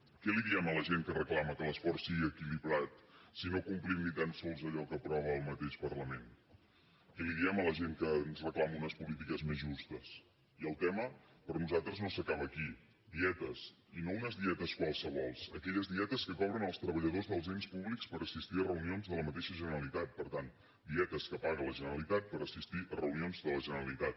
què li diem a la gent que reclama que l’esforç sigui equilibrat si no complim ni tan sols allò que aprova el mateix parlament què li diem a la gent que ens reclama unes polítiques més justes i el tema per nosaltres no s’acaba aquí dietes i no unes dietes qualssevol aquelles dietes que cobren els treballadors dels ens públics per assistir a reunions de la mateixa generalitat per tant dietes que paga la generalitat per assistir a reunions de la generalitat